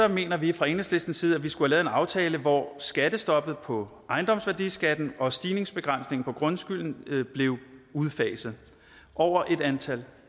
mener vi fra enhedslistens side at vi skulle have lavet en aftale hvor skattestoppet på ejendomsværdiskatten og stigningsbegrænsningen på grundskylden blev udfaset over et antal